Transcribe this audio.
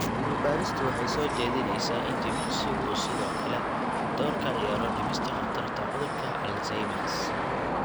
Cilmi-baaristu waxay soo jeedinaysaa in jimicsigu uu sidoo kale door ka ciyaaro dhimista khatarta cudurka Alzheimers.